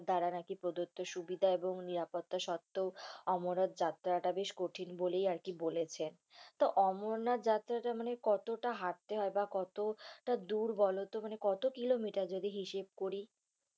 দ্বারা নাকি প্রদত্ত সুবিধা এবং নিরপত্তা সত্ত্বেও অমরনাথ যাত্রাটা বেশি কঠিন বলেই আরকি বলেছে। তো অমরনাথ যাত্রাটা মানে কতটা হাঁটতে হয় বা কতটা দূর বলতো মানে কত kilometre যদি হিসেব করি?